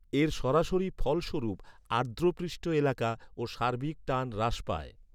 এর সরাসরি ফলস্বরূপ, আর্দ্র পৃষ্ঠ এলাকা ও সার্বিক টান হ্রাস পায়।